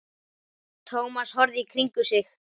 Thomas horfði í kringum sig.